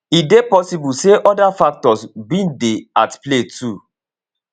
e dey possible say oda factors bin dey at play too